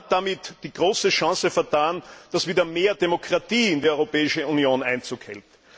Man hat damit die große Chance vertan, dass wieder mehr Demokratie in die Europäische Union Einzug hält.